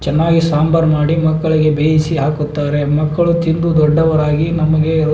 ಚೆನ್ನಾಗಿ ಸಾಂಬಾರ್ ಮಾಡಿ ಮಕ್ಕಳಿಗೆ ಬೇಯಿಸಿ ಹಾಕುತ್ತಾರೆ ಮಕ್ಕಳು ತಿಂದು ದೊಡ್ಡವರಾಗಿ ನಮಗೆ --